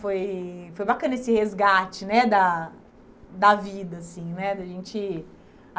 Foi foi bacana esse resgate né da da vida assim né, da gente.